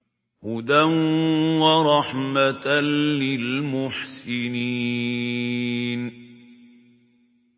هُدًى وَرَحْمَةً لِّلْمُحْسِنِينَ